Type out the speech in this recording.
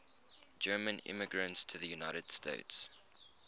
german immigrants to the united states